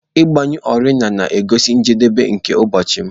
Ịgbanyụ oriọna na-egosi njedebe nke ụbọchị m.